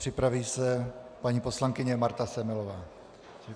Připraví se paní poslankyně Marta Semelová.